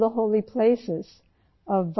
تمام مقدس دریا یہاں ہیں